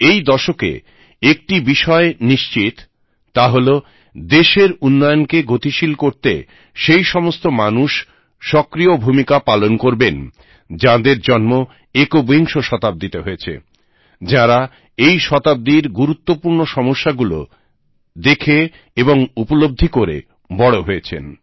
এই দশকে একটি বিষয় নিশ্চিত তা হলো দেশের উন্নয়নকে গতিশীল করতে সেই সমস্ত মানুষ সক্রিয় ভূমিকা পালন করবেন যাদের জন্ম একবিংশ শতাব্দীতে হয়েছে যারা এই শতাব্দীর গুরুত্বপূর্ণ সমস্যাগুলো দেখে এবং উপলব্ধি করে বড় হয়েছেন